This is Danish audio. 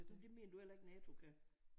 Det mener du heller ikke NATO kan?